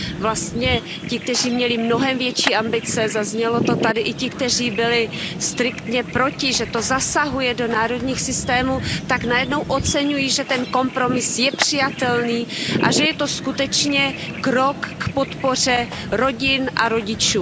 Vlastně ti, kteří měli mnohem větší ambice, zaznělo to tady, i ti, kteří byli striktně proti, že to zasahuje do národních systémů, tak najednou oceňují, že ten kompromis je přijatelný a že je to skutečně krok k podpoře rodin a rodičů.